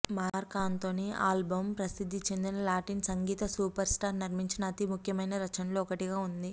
mark Anthony album ప్రసిద్ధి చెందిన Latin సంగీత సూపర్స్టార్ నిర్మించిన అతి ముఖ్యమైన రచనల్లో ఒకటిగా ఉంది